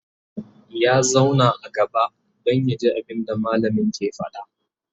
ya zauna a gaba Dan yaji abunda mallamin ke faɗa